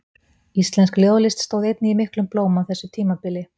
Íslensk ljóðlist stóð einnig í miklum blóma á þessu tímabili.